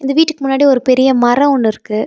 இந்த வீட்டுக்கு முன்னாடி ஒரு பெரிய மரோ ஒன்னு இருக்கு.